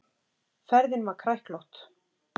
Ferðin var kræklótt.